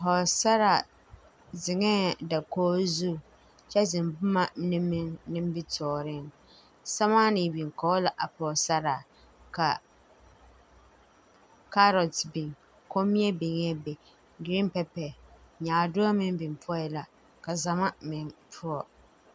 Pɔɔsaraa zeŋɛɛ dakoge zu kyɛ zeŋ bomma mine meŋ nimitooreŋ sɛmaanee biŋ kɔge la a pɔɔsaraa ka kaarot biŋ kommie biŋee be gireen pɛpɛ nyaadoɔ meŋ biŋ poɔɛ la ka zama meŋ poɔ.